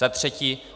Za třetí.